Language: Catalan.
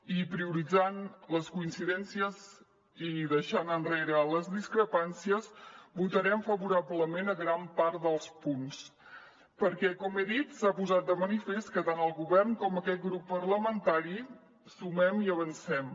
i prioritzant les coincidències i deixant enrere les discrepàncies votarem favorablement a gran part dels punts perquè com he dit s’ha posat de manifest que tant el govern com aquest grup parlamentari sumem i avancem